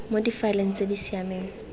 mo difaeleng tse di siameng